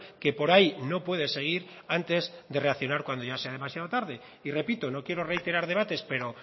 que por ahí no puede seguir antes de reaccionar cuando ya sea demasiado tarde y repito no quiero reiterar debates pero